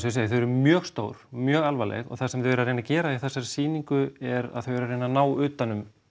ég segi þau eru mjög stór mjög alvarleg og það sem þau eru að reyna að gera í þessari sýningu er að þau eru að reyna að ná utan um